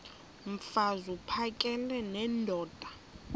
mfaz uphakele nendoda